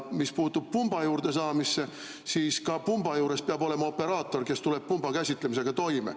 Mis puutub pumba juurde saamisse, siis ka pumba juures peab olema operaator, kes tuleb pumba käsitlemisega toime.